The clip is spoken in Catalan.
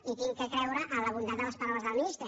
i haig de creure en la bondat de les paraules de la ministra